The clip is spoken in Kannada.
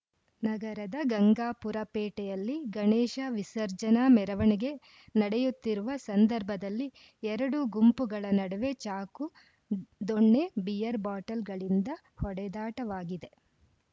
ನಗರದ ಗಂಗಾಪುರ ಪೇಟೆಯಲ್ಲಿ ಗಣೇಶ ವಿಸರ್ಜನಾ ಮೆರವಣಿಗೆ ನಡೆಯುತ್ತಿರುವ ಸಂದರ್ಭದಲ್ಲಿ ಎರಡು ಗುಂಪುಗಳ ನಡುವೆ ಚಾಕು ದೊಣ್ಣೆ ಬಿಯರ್‌ ಬಾಟಲ್ ಗಳಿಂದ ಹೊಡೆದಾಟವಾಗಿದೆ